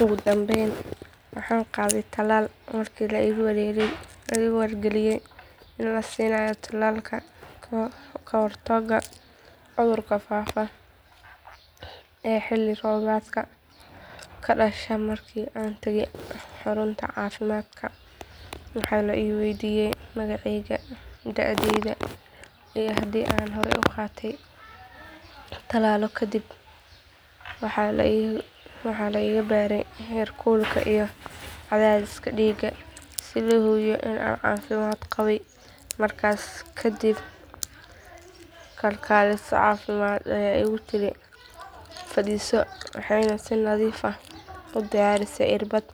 Ugu dambeyn waxaan qaaday tallaal markii la igu wargeliyay in la siinayo tallaalka ka hortagga cudurka faafa ee xilli roobaadka ka dhasha markii aan tegey xarunta caafimaadka waxaa la i waydiiyay magacayga da'deyda iyo haddii aan horey u qaaday tallaallo kale kadib waxaa la iga baaray heerkulka iyo cadaadiska dhiigga si loo hubiyo in aan caafimaad qabay markaas kadib kalkaaliso caafimaad ayaa igu tiri fadhiiso waxayna si nadiif ah u diyaarisay irbadda